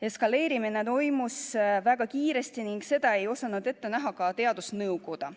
Eskaleerumine toimus väga kiiresti ning seda ei osanud ette näha ka teadusnõukoda.